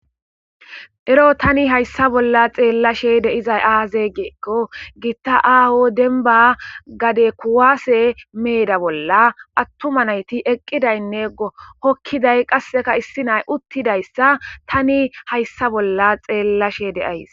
Ero tani hayssa bolla xeellashe de7izay aaze giikko giitta aaho dembba gade kuwaase meeda bolla attuma nayti eqqidaynne hokkiday qasseka issi nay uttidayssa tani hayssa bolla xeellashe de7ays.